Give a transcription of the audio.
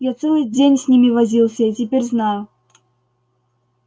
я целый день с ними возился и теперь знаю